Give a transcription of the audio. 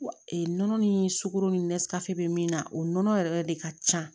nɔnɔ ni sukoro ni bɛ min na o nɔnɔ yɛrɛ de ka ca